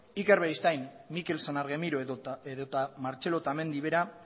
iker beristain mikel san argemiro edota martxelo otamendi